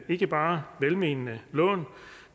ikke bare velmenende lån